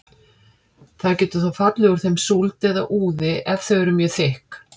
Það getur þó fallið úr þeim súld eða úði ef þau eru mjög þykk.